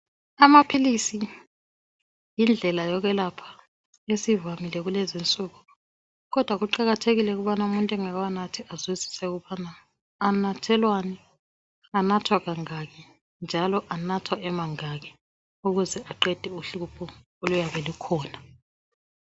Amaphilisi yindlela yokwelapha esivamile kulezinsuku kodwa kuqakathekile ukuthi umuntu engakawanathi azwisise ukubana anathelwani, anathwa kangaki njalo anathwa emangaki ukuze aqede uhlupho oluyabe lukhona.